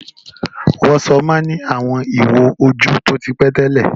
WhatsApp má ń ní àwọn ìwo ojú tí ó ti pẹ́ tẹ́lẹ̀